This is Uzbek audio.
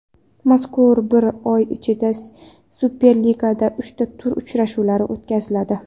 Mazkur bir oy ichida Superligada uchta tur uchrashuvlari o‘tkaziladi.